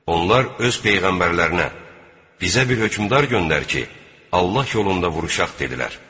Onlar öz peyğəmbərlərinə: 'Bizə bir hökümdar göndər ki, Allah yolunda vuruşaq' dedilər.